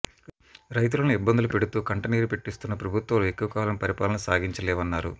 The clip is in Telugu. రైతులను ఇబ్బందులు పెడుతూ కంటనీరు పెట్టిస్తున్న ప్రభుత్వాలు ఎక్కువకాలం పరిపాలన సాగించలేవన్నారు